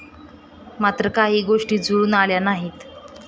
मात्र काही गोष्टी जुळून आल्या नाहीत.